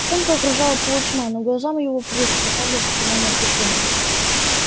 волчонка окружала полутьма но глазам его приспосабливаться к иному освещению